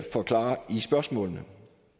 forklare i spørgsmålene